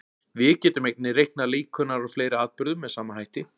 Við getum einnig reiknað líkurnar á fleiri atburðum með sama hætti.